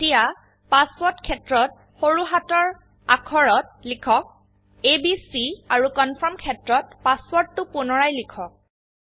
এতিয়া পাসওয়াৰ্ড ক্ষেত্ৰত সৰু হাতৰ অাক্ষৰত লিখক এবিচি আৰু কনফাৰ্ম ক্ষেত্ৰত পাসওয়াৰ্ডটো পুনৰায় লিখক